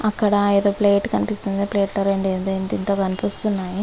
అక్కడ ఏదో ప్లేట్ కనిపిస్తుంది ప్లేట్ లో ఏందో ఇంత ఇంత గ కనిపిస్తున్నాయి .